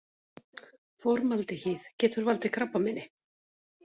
Formaldehýð- Getur valdið krabbameini.